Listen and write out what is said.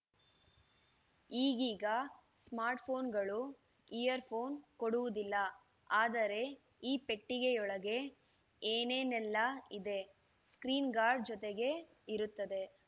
ಈಗೀಗ ಸ್ಮಾರ್ಟ್‌ ಫೋನುಗಳು ಇಯರ್‌ಫೋನ್‌ ಕೊಡುವುದಿಲ್ಲ ಆದರೆ ಈ ಪೆಟ್ಟಿಗೆಯೊಳಗೆ ಏನೇನೆಲ್ಲ ಇದೆ ಸ್ಕ್ರೀನ್‌ ಗಾರ್ಡ್‌ ಜೊತೆಗೇ ಇರುತ್ತದೆ